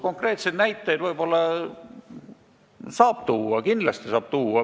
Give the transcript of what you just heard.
Konkreetseid näiteid saab võib-olla tuua, kindlasti saab neid tuua.